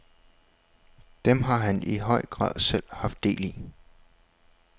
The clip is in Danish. Dem har han i høj grad selv haft del i.